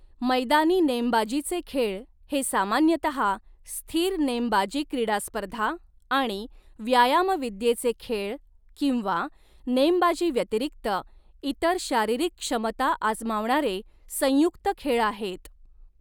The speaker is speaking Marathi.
मैदानी नेमबाजीचे खेळ हे सामान्यतः स्थिर नेमबाजी क्रीडा स्पर्धा आणि व्यायामविद्येचे खेळ किंवा नेमबाजी व्यतिरिक्त इतर शारीरिक क्षमता आजमावणारे संयुक्त खेळ आहेत.